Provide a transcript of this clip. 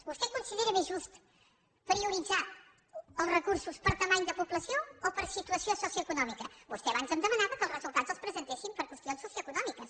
vostè considera més just prioritzar els recursos per dimensió de població o per situació socioeconòmica vostè abans em demanava que els resultats els presentéssim per qüestions socioeconòmiques